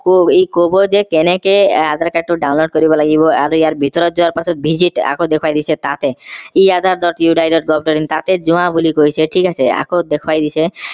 কো ই কব যে কেনেকে adhere card টো download কৰিব লাগিব আৰু ইয়াৰ ভিতৰত যোৱাৰ পিছত visit আকৌ দেখুৱাই দিছে তাতে ই adher. govt in তাতে যোৱা বুলি কৈছে ঠিক আছে আকৌ দেখুৱাই দিছে